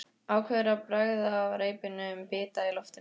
Ákveður að bregða reipinu um bita í loftinu.